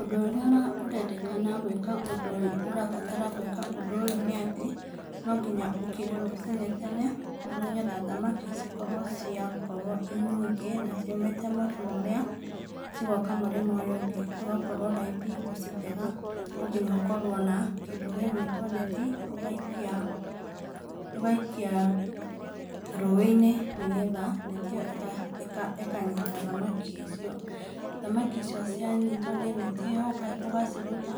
Ũndũ ũrĩa ũrendekana gwĩka ũndũ ũyũ, ũrabatara gwĩka ũndũ ũyũ, nĩ atĩ no nginya ũkĩre rũciinĩ tene nĩgetha thamaki cikorwo ciakorwo irĩ nyingi , na ciumĩte mũrĩmo ũrĩa cigoka mũrĩmo ũyũ ũngĩ, ciakorwo raithi gũcitega, no nginya ũkorwo na kĩndũ gĩgwĩtwo neti , ũgaikia rũiinĩ, nĩgetha neti iyo ĩkanyita thamaki icio, thamaki icio cianyitwo nĩ neti ũgaciruta,